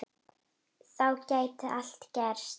Þá gæti allt gerst.